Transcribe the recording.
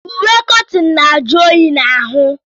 Uwe kọtịn na-ajụ oyi n'ahụ.